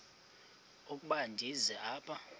ukuba ndize apha